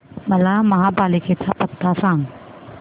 मला महापालिकेचा पत्ता सांग